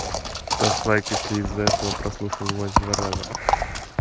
ставь лайк если из-за этого прослушал войс два раза ха